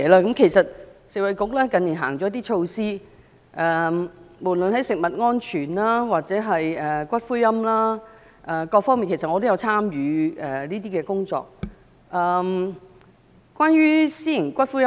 近年食衞局推出幾項措施，無論在食物安全或骨灰龕各方面我也有參與工作。